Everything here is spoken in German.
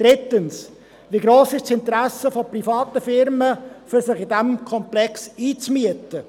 Drittens: Wie gross ist das Interesse privater Firmen, sich in diesem Komplex einzumieten?